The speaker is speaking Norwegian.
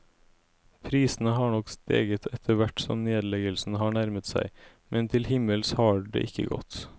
Prisene har nok steget etterhvert som nedleggelsen har nærmet seg, men til himmels har det ikke gått.